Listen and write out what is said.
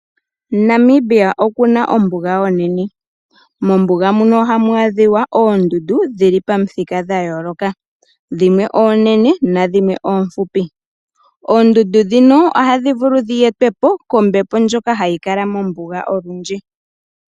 Namibia oku na ombuga onene. Mombuga muno oha mu adhikwa oondundu dhili pamithika dhayooloka dhimwe oonene nadhimwe oomfupi. Oondundu dhika oha dhi etwa po kombepo ndyoka ha yi kala mombuga olundji.